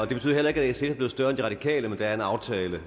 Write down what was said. betyder heller ikke at sf er blevet større end de radikale men der er en aftale